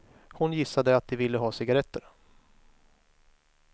Hon gissade att de ville ha cigaretter.